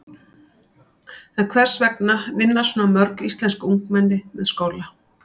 En hvers vegna vinna svona mörg íslensk ungmenni með skóla?